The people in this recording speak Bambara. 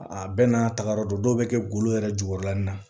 A bɛɛ n'a tagayɔrɔ don dɔw bɛ kɛ golo yɛrɛ jukɔrɔla nin na